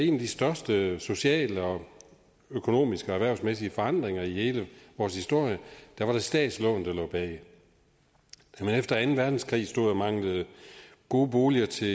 en af de største sociale økonomiske og erhvervsmæssige forandringer i hele vores historie var det statslån der lå bag da man efter anden verdenskrig stod og manglede gode boliger til